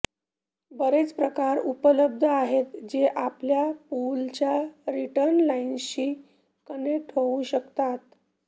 बरेच प्रकार उपलब्ध आहेत जे आपल्या पूलच्या रिटर्न लाइनशी कनेक्ट होऊ शकतात